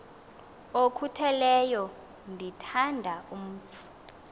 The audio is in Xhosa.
okhutheleyo ndithanda umf